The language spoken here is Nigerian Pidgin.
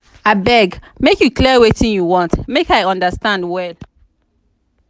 abeg make you clear wetin you want make i understand well.